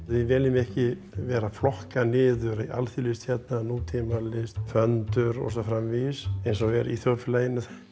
við viljum ekki vera að flokka niður alþýðulist nútímalist föndur og svo framvegis eins og er í þjóðfélaginu